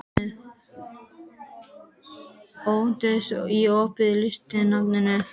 Októvíus, er opið í Listasafninu?